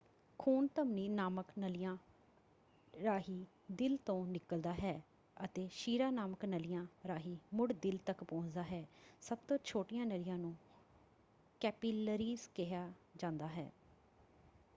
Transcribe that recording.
ਖੂਨ ਧਮਨੀ ਨਾਮਕ ਨਲੀਆਂ ਰਾਹੀਂ ਦਿਲ ਤੋਂ ਨਿੱਕਲਦਾ ਹੈ ਅਤੇ ਸ਼ਿਰਾ ਨਾਮਕ ਨਲੀਆਂ ਰਾਹੀਂ ਮੁੜ ਦਿਲ ਤੱਕ ਪਹੁੰਚਦਾ ਹੈ। ਸਭ ਤੋਂ ਛੋਟੀਆਂ ਨਲੀਆਂ ਨੂੰ ਕੈਪੀਲਰੀਜ਼ ਕਿਹਾ ਜਾਂਦਾ ਹੈ।